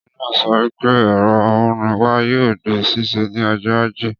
Ọbìnrin naa sọ wípé ẹ̀rọ amúnáwá yoo di ṣíṣe ni ọjọ́ ajé.